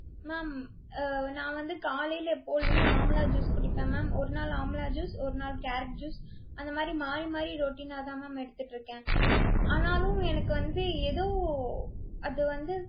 ma'am அஹ் நான் வந்து காலையில எப்பொழுதுமே amla juice குடிப்பேன் ma'am. ஒருநாள் amla juice ஒருநாள் carrot juice அந்த மாதிரி மாறி மாறி routine ஆ தான் ma'am எடுத்துட்டிருக்கேன். ஆனாலும் எனக்கு வந்து ஏதோ அது வந்து